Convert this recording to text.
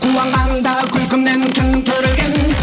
қуанғанда күлкімнен түн түрілген